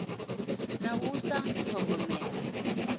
na u sa ḓi ṱhogomela